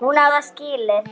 timian og svörtum pipar.